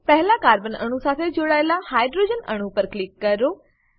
પહેલા કાર્બન અણુ સાથે જોડાયેલા હાઇડ્રોજન અણુ પર ક્લિક કરો